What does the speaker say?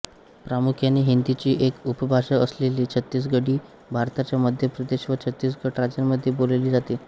प्रामुख्याने हिंदीची एक उपभाषा असलेली छत्तीसगढी भारताच्या मध्य प्रदेश व छत्तीसगढ राज्यांमध्ये बोलली जाते